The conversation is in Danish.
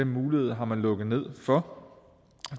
mulighed har man lukket ned for